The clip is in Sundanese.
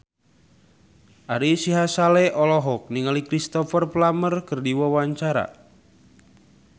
Ari Sihasale olohok ningali Cristhoper Plumer keur diwawancara